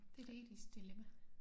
Det et etisk dilemma